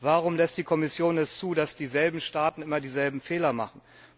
Warum lässt die Kommission es zu, dass dieselben Staaten immer dieselben Fehler machen?